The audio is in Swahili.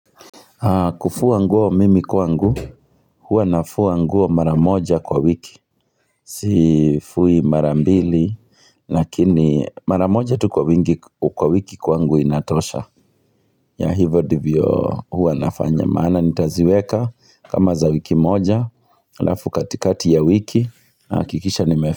Kufua nguo mimi kwangu, hua nafua nguo mara moja kwa wiki. Sifui mara mbili, lakini mara moja tu kwa wiki kwa wiki kwangu inatosha. Ya hivyo ndivyo hua nafanya. Maana nitaziweka, kama za wiki moja, halafu katikati ya wiki, nahakikisha nimefua.